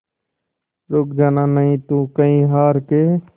रुक जाना नहीं तू कहीं हार के